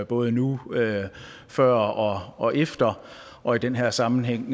både nu før og og efter og i den her sammenhæng